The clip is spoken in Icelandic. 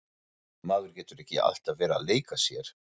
Maður getur ekki alltaf verið að leika sér.